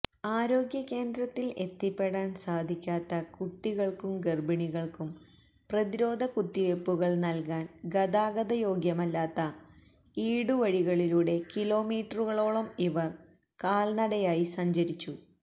ആരോഗ്യകേന്ദ്രത്തിൽ എത്തിപ്പെടാൻ സാധിക്കാത്ത കുട്ടികൾക്കും ഗർഭിണികൾക്കും പ്രതിരോധകുത്തിവെപ്പുകൾ നൽകാൻ ഗതാഗതയോഗ്യമല്ലാത്ത ഈടുവഴികളിലൂടെ കിലോമീറ്ററുകളോളം ഇവർ കാൽനടയായി സഞ്ചരിച്ചു